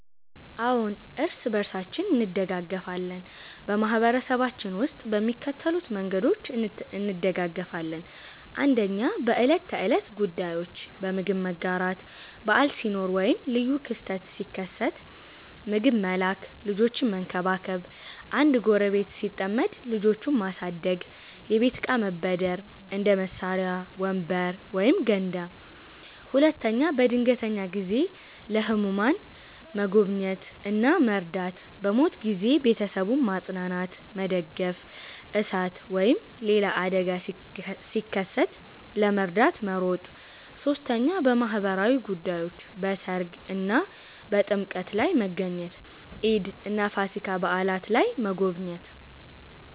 አዎን፣ እርስ በርሳችን እንደጋገፋለን በማህበረሰባችን ውስጥ በሚከተሉት መንገዶች እንደጋገፋለን፦ 1. በዕለት ተዕለት ጉዳዮች · በምግብ መጋራት – በዓል ሲኖር ወይም ልዩ ክስተት ሲከሰት ምግብ መላክ · ልጆችን መንከባከብ – አንድ ጎረቤት ሲጠመድ ልጆቹን ማሳደግ · የቤት እቃ መበደር – እንደ መሳሪያ፣ ወንበር ወይም ገንዳ 2. በድንገተኛ ጊዜ · ለህሙማን መጎብኘት እና መርዳት · በሞት ጊዜ ቤተሰቡን ማጽናናትና መደገፍ · እሳት ወይም ሌላ አደጋ ሲከሰት ለመርዳት መሮጥ 3. በማህበራዊ ጉዳዮች · በሠርግ እና በጥምቀት ላይ መገኘት · ኢድ እና ፋሲካ በዓላት ላይ መጎብኘት